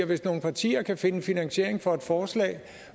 hvis nogle partier kan finde en finansiering for et forslag